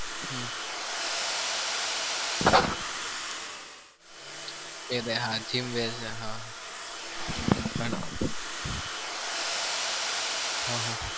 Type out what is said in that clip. હમ એ હાચ્વીન બેજે હો હહ